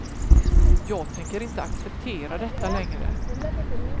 Jag tänker inte acceptera detta längre.